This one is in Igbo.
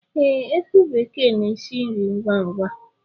Ee, ekwu bekee na-esi nri ngwá ngwá